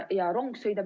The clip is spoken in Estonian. Ja rong sõidab ...